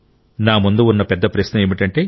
నా ముందు ఉన్న పెద్ద ప్రశ్న ఏమిటంటే